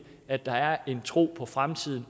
at der er en tro på fremtiden